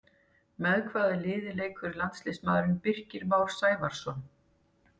Með hvaða liði leikur landsliðsmaðurinn Birkir Már Sævarsson?